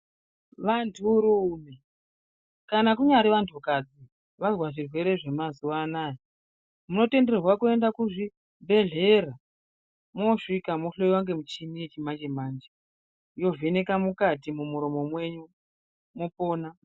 Vanturume kana kunyari vantukadzi vazve zvirwere zvamazuvano munotenderwa kuenda kuzvibhedhlera mwosvika mwohloyiwa nemuchina yachimanje manje yovheneka mukati mumuromo mwenyu mwopona.